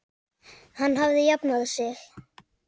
Hann hafði jafnað sig.